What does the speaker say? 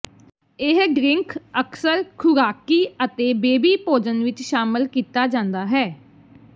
ਇਹ ਡ੍ਰਿੰਕ ਅਕਸਰ ਖੁਰਾਕੀ ਅਤੇ ਬੇਬੀ ਭੋਜਨ ਵਿੱਚ ਸ਼ਾਮਲ ਕੀਤਾ ਜਾਂਦਾ ਹੈ